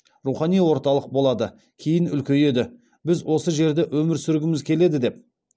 рухани орталық болады кейін үлкейеді біз осы жерде өмір сүргіміз келеді деп